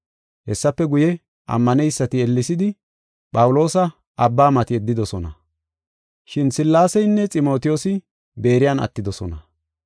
Hessafe guye, ammaneysati ellesidi Phawuloosa abba mati yeddidosona. Shin Sillaaseynne Ximotiyoosi Beeriyan attidosona.